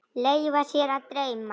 Leyfa sér að dreyma.